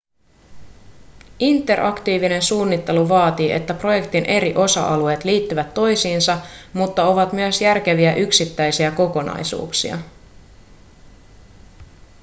interaktiivinen suunnittelu vaatii että projektin eri osa-alueet liittyvät toisiinsa mutta ovat myös järkeviä yksittäisiä kokonaisuuksia